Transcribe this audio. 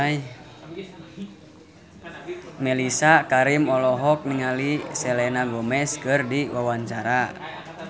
Mellisa Karim olohok ningali Selena Gomez keur diwawancara